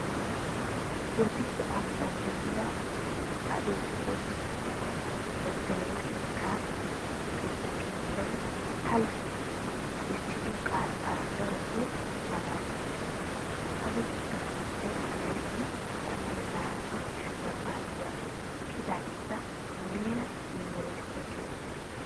Bodditte ambban de'iya adelfoose 2tto xekkaa luxetta keettay halaytti bessido qaattay darota maalaalissiis. Ha luxetta keettay ha laytti 12tta kifiliya paaciya ekkidaageeta muleera yunveresttiya gelissiis.